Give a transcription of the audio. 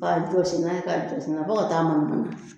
K'a jɔsi n'a ye ka jɔsi n'a ye fɔ ka taa mangan ban